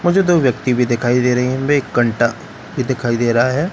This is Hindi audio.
मुझे दो व्यक्ति भी दिखाई दे रही हैं वे एक कंटा भी दिखाई दे रहा हैं --